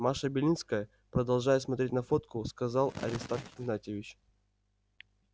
маша белинская продолжая смотреть на фотку сказал аристарх игнатьевич